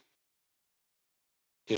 Hún kvaddi þegar við kysstumst.